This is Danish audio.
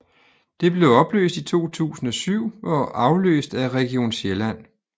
Det blev opløst i 2007 og afløst af Region Sjælland